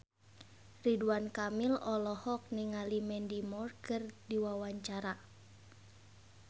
Ridwan Kamil olohok ningali Mandy Moore keur diwawancara